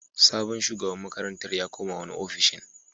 Sabon shugaban makarantar ya koma wani ofishin.